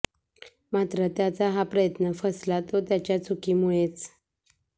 मात्र त्याचा हा प्रयत्न फसला तो त्याच्या चुकीमुळेच